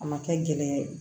A ma kɛ gɛlɛya ye